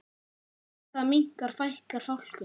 Þegar það minnkar fækkar fálkum.